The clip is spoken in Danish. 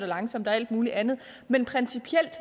langsomt og alt muligt andet men principielt